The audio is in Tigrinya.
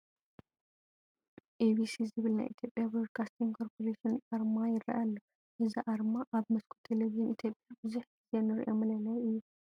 EBC ዝብል ናይ ኢትዮጵያ ብሮድካስቲንግ ኮርፖሬሽን ኣርማ ይርአ ኣሎ፡፡ እዚ ኣርማ ኣብ መስኮት ቴለብዥን ኢትዮጵያ ብዙሕ ግዜ ንሪኦ መለለዪ እዩ፡፡